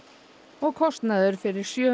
og kostnaður fyrir sjö